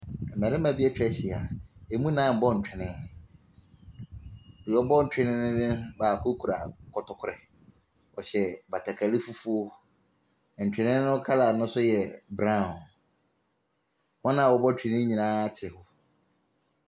Mmeranteɛ bi atwa ahyia, ɛmu nnan ɛrebɔ ntwene, deɛ wɔrebɔ ntwene no, baako kura kɔtɔkorɛ. Wɔhyɛ batakari fufuo, ntwene ne colour no nso yɛ brown. Wɔn a wɔrebɔ ntwene ne nyinaa ate hɔ.